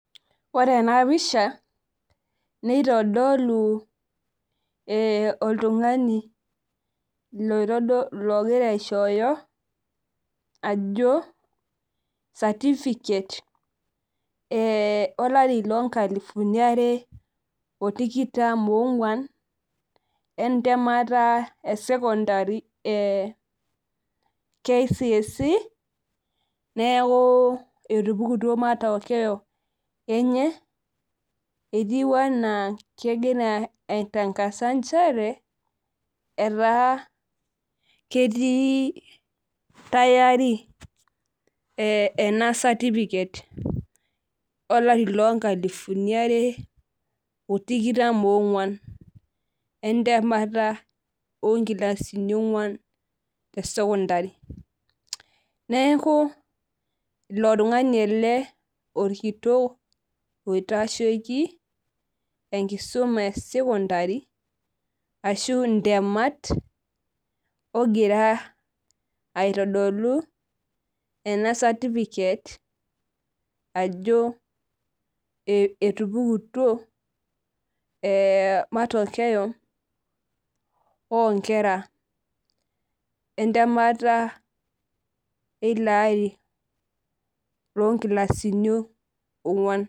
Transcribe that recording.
Ore ena pisha nitodolu oltungani logira aishooyo ajo certificate olari loonkalifuni are otikitam ogwan entemata e secondary KCSE neeku etupukutuo matokeo enche ketiu enaa kegira aitankasa nchere etaa ketii tayari ena certificate olari loonkalifuni are otikitam onkilasini ogwan e secondary neeku ilo tungani ele orkitioki oitasheki enkisuma e secondary ashu ntemeta ogira aitodolu ena certificate ajo etupukutuo matokeo onkera entemeta ilo ari onkilasini ogwan.